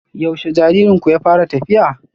Yaushe jaririnku ya fara tafiya?